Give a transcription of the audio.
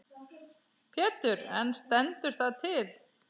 Pétur: En stendur það til?